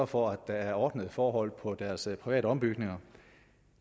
for at der er ordnede forhold på deres private ombygninger